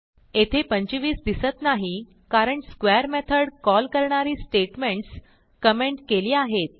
येथे 25 दिसत नाही कारण स्क्वेअर मेथड कॉल करणारी स्टेटमेंटस कमेंट केली आहेत